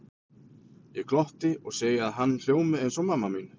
Ég glotti og segi að hann hljómi eins og mamma mín.